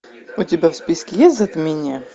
у тебя в списке есть затмение